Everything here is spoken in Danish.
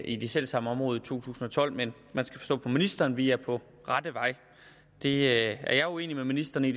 i det selv samme område tusind og tolv men man skal forstå på ministeren at vi er på rette vej det er jeg uenig med ministeren i